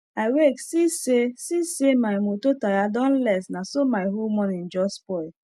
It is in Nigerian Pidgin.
i wake see say see say my moto tire don less naso my whole morning jus spoil